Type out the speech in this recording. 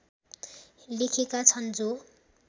लेखेका छन् जो